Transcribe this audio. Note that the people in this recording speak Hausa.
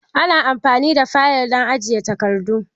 Ana amfani da fayil don ajiye takardu